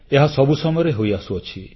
ଏହା ସବୁ ସମୟରେ ହୋଇଆସୁଛି